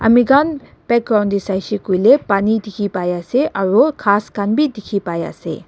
amekhan background te saishaekoilae pani dikhi paiase aru ghas khan bi dikhipaiase.